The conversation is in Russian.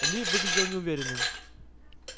ли выглядел неуверенным